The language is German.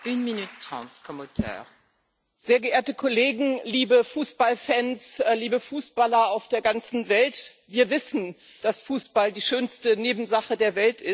Frau Präsidentin, sehr geehrte Kollegen! Liebe Fußballfans, liebe Fußballer auf der ganzen Welt! Wir wissen, dass Fußball die schönste Nebensache der Welt ist.